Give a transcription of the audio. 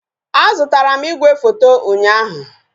A zụtara m igwefoto ụnyaahụ